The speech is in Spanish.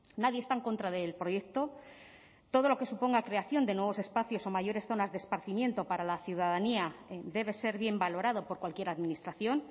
nadie está en contra del proyecto todo lo que suponga creación de nuevos espacios o mayores zonas de esparcimiento para la ciudadanía debe ser bien valorado por cualquier administración